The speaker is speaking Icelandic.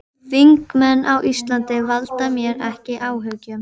Þingmenn á Íslandi valda mér ekki áhyggjum.